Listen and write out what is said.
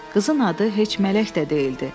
Qızın adı heç mələk də deyildi.